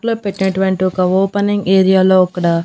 ఇంటిలో పెట్టినటువంటి ఒక ఓపెనింగ్ ఏరియాలో అక్కడ.